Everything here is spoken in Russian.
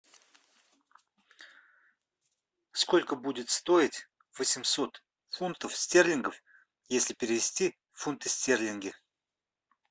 сколько будет стоить восемьсот фунтов стерлингов если перевести в фунты стерлинги